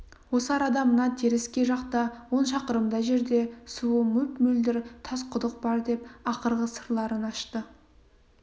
осы арада мына теріскей жақта он шақырымдай жерде суы мөп-мөлдір тас құдық бар деп ақырғы сырларын ашты